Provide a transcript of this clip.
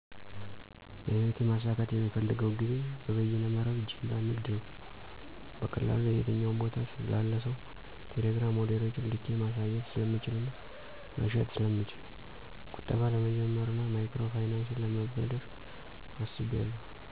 - በህይወቴ ማሳካት የምፈልገው ግቤ በበየነ መረብ ጅምላ ንግድ ነው። - በቀላሉ የትኛውም ቦታ ላለ ሰው በቴሌግራም ሞዴሎችን ልኬ ማሳየት ስለምችልና መሸጥ ስለምችል። - ቁጠባ ለመጀመርና ማይክሮ ፋይናንስ ለመበደር አስቢያለሁ።